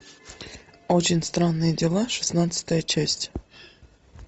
очень странные дела шестнадцатая часть